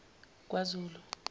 kwazulu